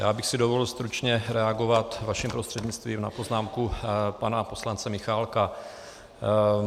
Já bych si dovolil stručně reagovat vaším prostřednictvím na poznámku pana poslance Michálka.